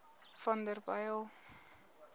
vanderbijl